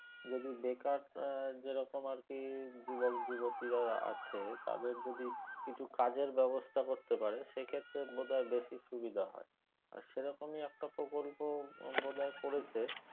যদি বেকার এর যেরকম আরকি যুবক যুবতিরা আছে তাদের যদি কিছু কাজের ব্যবস্থা করতে পারে সে ক্ষেত্রে বোধ হয় বেশি সুবিধা হয় আর সে রকমই একটা প্রকল্প বোধ হয় করেছে